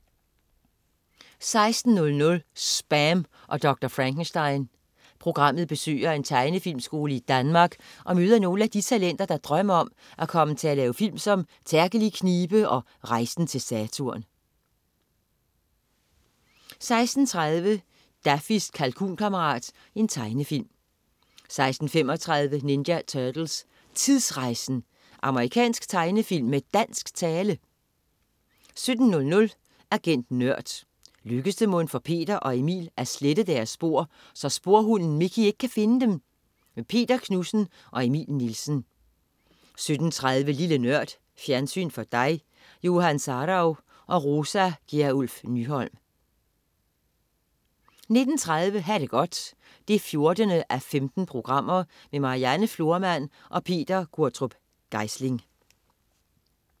16.00 SPAM og Dr. Frankenstein. Programmet besøger en tegnefilmskole i Danmark og møder nogle af de talenter, der drømmer om at komme til at lave film som "Terkel i knibe" og "Rejsen til Saturn" 16.30 Daffys kalkunkammerat. Tegnefilm 16.35 Ninja Turtles: Tidsrejsen! Amerikansk tegnefilm med dansk tale! 17.00 Agent Nørd. Lykkes det mon for Peter og Emil at slette deres spor, så sporhunden Mickey ikke kan finde dem? Peter Knudsen og Emil Nielsen 17.30 Lille Nørd. Fjernsyn for dig. Johan Sarauw og Rosa Gjerluff Nyholm 19.30 Ha' det godt 14:15. Marianne Florman og Peter Q. Geisling